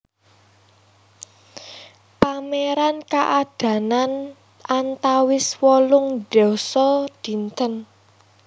Pameran kaadanan antawis wolung dasa dinten